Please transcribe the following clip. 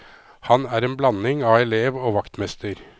Han er en blanding av elev og vaktmester.